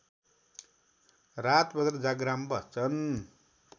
रातभर जाग्राम बस्छन्